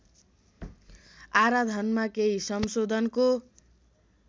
आराधनमा केही संशोधनको